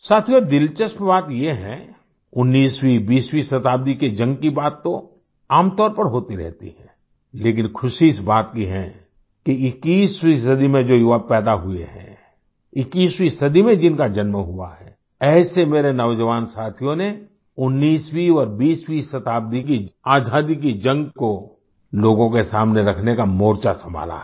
साथियों दिलचस्प बात ये है 19वीं 20 वीं शताब्दी की जंग की बात तो आमतौर पर होती रहती है लेकिन ख़ुशी इस बात की है कि 21वीं सदी में जो युवक पैदा हुए हैं 21वीं सदी में जिनका जन्म हुआ है ऐसे मेरे नौजवान साथियों ने 19वीं और 20वीं शताब्दी की आज़ादी की जंग को लोगों के सामने रखने का मोर्चा संभाला है